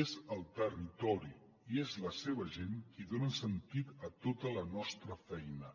és el territori i és la seva gent qui donen sentit a tota la nostra feina